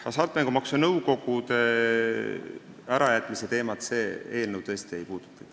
Hasartmängumaksu Nõukogu ärakaotamise teemat see eelnõu tõesti ei puuduta.